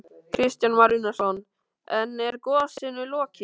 Kristján Már Unnarsson: En er gosinu lokið?